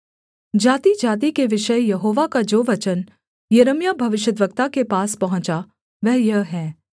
जातिजाति के विषय यहोवा का जो वचन यिर्मयाह भविष्यद्वक्ता के पास पहुँचा वह यह है